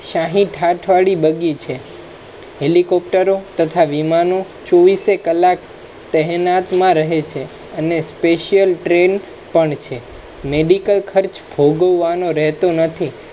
શાહી ઠાઠ વાળી બગ્ગી છે helicopter ત્થા વિમાનો ચોવીસે કલાક તહેનાતમાં રહે છે અને special train પણ છે medical ખર્ચ ભોગવવા નો નથી